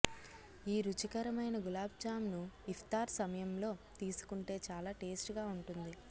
ఈ రుచికరమైన గులాబ్ జామూన్ ను ఇఫ్తార్ సమయంలో తీసుకుంటే చాలా టేస్ట్ గా ఉంటుంది